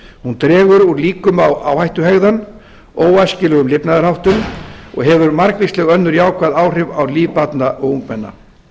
hún dregur úr líkum á áhættuhegðun óæskilegum lifnaðarháttum og hefur margvísleg önnur jákvæð áhrif á líf barna og ungmenna